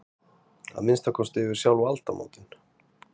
Að minnsta kosti yfir sjálf aldamótin.